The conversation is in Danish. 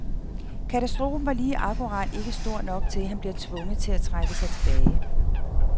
Katastrofen var lige akkurat ikke stor nok til, at han bliver tvunget til at trække sig tilbage.